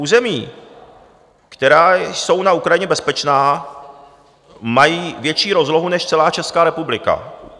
Území, která jsou na Ukrajině bezpečná, mají větší rozlohu než celá Česká republika.